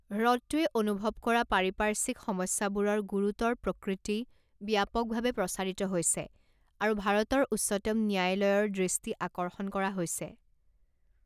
হ্ৰদটোৱে অনুভৱ কৰা পাৰিপাৰ্শ্বিক সমস্যাবোৰৰ গুৰুতৰ প্ৰকৃতি ব্যাপকভাৱে প্ৰচাৰিত হৈছে আৰু ভাৰতৰ উচ্চতম ন্যায়ালয়ৰ দৃষ্টি আকৰ্ষণ কৰা হৈছে।